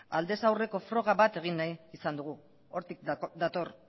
aldez aldeko froga bat egin nahi izan dugu hortik dator